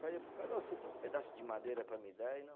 Falei para o cara, ô você tem um pedaço de madeira para me dar?